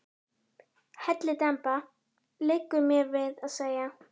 Hellidemba, liggur mér við að segja.